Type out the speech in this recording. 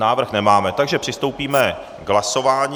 Návrh nemáme, takže přistoupíme k hlasování.